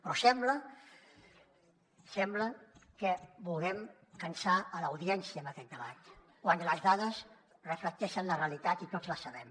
però sembla sembla que vulguem cansar l’audiència amb aquest debat quan les dades reflecteixen la realitat i tots la sabem